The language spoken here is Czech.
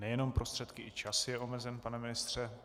Nejenom prostředky, i čas je omezen, pane ministře.